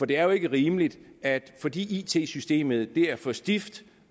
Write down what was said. det er jo ikke rimeligt at fordi it systemet er for stift